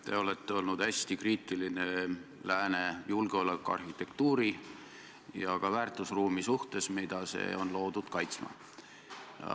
Te olete olnud hästi kriitiline lääne julgeolekuarhitektuuri ja ka väärtusruumi suhtes, mida see on loodud kaitsma.